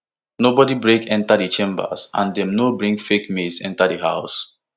nobody break enta di chambers and dem no bring fake maze enta di house